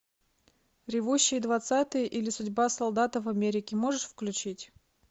ревущие двадцатые или судьба солдата в америке можешь включить